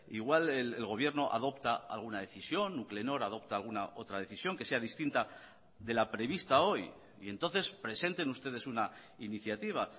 igual el gobierno adopta alguna decisión nuclenor adopta alguna otra decisión que sea distinta de la prevista hoy y entonces presenten ustedes una iniciativa